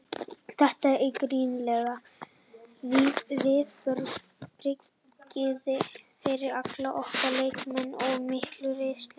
Þetta eru gríðarleg viðbrigði fyrir alla okkar leikmenn og mikil reynsla.